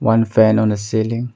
One fan on a ceiling.